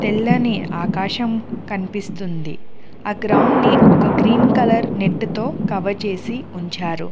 తెల్లని ఆకాశం కనిపిస్తుంది. ఆ గ్రౌండ్ ని ఒక గ్రీన్ కలర్ నెట్ తో కవర్ చేసి ఉంచారు.